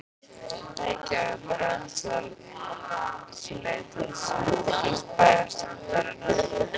Reykjavíkur, án þess að áður sé leitað samþykkis bæjarstjórnarinnar.